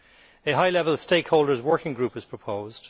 A high level stakeholders' working group is proposed.